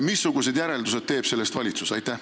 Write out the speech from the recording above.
Missugused järeldused teeb sellest valitsus?